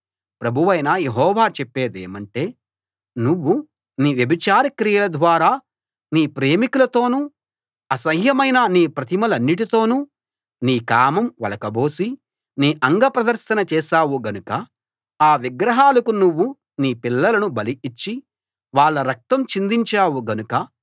ప్రభువైన యెహోవా చెప్పేదేమంటే నువ్వు నీ వ్యభిచార క్రియల ద్వారా నీ ప్రేమికులతోనూ అసహ్యమైన నీ ప్రతిమలన్నిటితోనూ నీ కామం ఒలకబోసి నీ అంగప్రదర్శన చేశావు గనుక ఆ విగ్రహాలకు నువ్వు నీ పిల్లలను బలి ఇచ్చి వాళ్ళ రక్తం చిందించావు గనుక